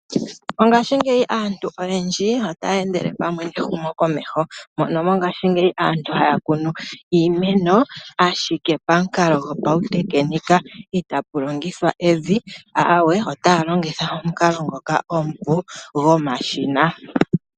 Mongaashingeyi aantu oyendji otaya endele pamwe nehumokomeho mono mongaashingeyi aantu haya kunu iimeno, ashike pamukalo gopautekenika itapu longithwa evi, aawee otaya longitha omukalo ngoka omupu gomashina.